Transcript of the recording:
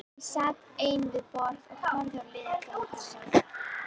Ég sat ein við borð og horfði á liðið dansa.